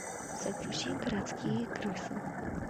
загрузи городские крысы